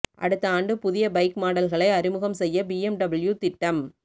அடுத்த ஆண்டு புதிய பைக் மாடல்களை அறிமுகம் செய்ய பிஎம்டபிள்யூ திட்டம்